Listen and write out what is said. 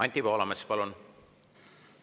Anti Poolamets, palun!